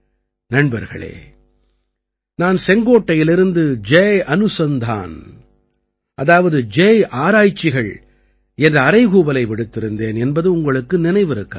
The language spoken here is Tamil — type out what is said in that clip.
நண்பர்களே நான் செங்கோட்டையிலிருந்து ஜய் அனுசந்தான் அதாவது ஜய் ஆராய்ச்சிகள் என்ற அறைகூவலை விடுத்திருந்தேன் என்பது உங்களுக்கு நினைவிருக்கலாம்